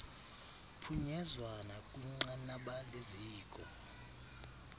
phunyezwa nakwinqanaba leziko